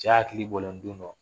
Cɛ hakili bɔlen don dɔ